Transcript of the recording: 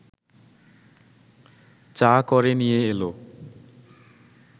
চা করে নিয়ে এল